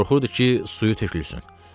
Qorxurdu ki, suyu tökülsün.